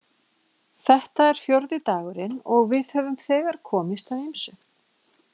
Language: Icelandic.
Þetta er fjórði dagurinn og við höfum þegar komist að ýmsu.